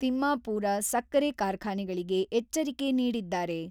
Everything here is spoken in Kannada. ತಿಮ್ಮಾಪೂರ ಸಕ್ಕರೆ ಕಾರ್ಖಾನೆಗಳಿಗೆ ಎಚ್ಚರಿಕೆ ನೀಡಿದ್ದಾರೆ.